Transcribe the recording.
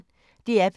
DR P1